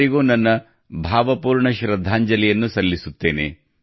ಅವರಿಗೂ ನನ್ನ ಭಾವಪೂರ್ಣ ಶ್ರದ್ಧಾಂಜಲಿಯನ್ನು ಸಲ್ಲಿಸುತ್ತೇನೆ